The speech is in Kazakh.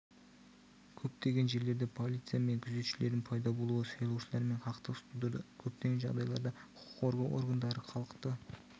көптеген жерлерде полиция мен күзетшілердің пайда болуы сайлаушылармен қақтығыс тудырды көптеген жағдайларда құқық қорғау органдары халықты